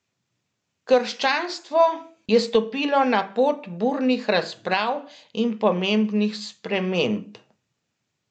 Krščanstvo je stopilo na pot burnih razprav in pomembnih sprememb.